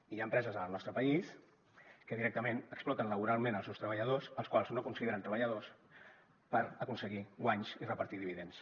i hi ha empreses al nostre país que directament exploten laboralment els seus treballadors als quals no consideren treballadors per aconseguir guanys i repartir dividends